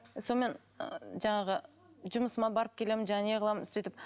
сонымен жаңағы жұмысыма барып келемін жаңағы не қыламын сөйтіп